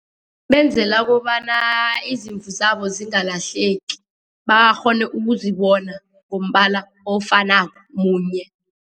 Benzela kobana izimvu zabo zingalahleki, bakghone ukuzibona ngombala ofanako munye.